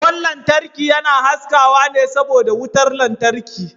Kwan lantarki yana haskawa ne saboda wutar lantarki.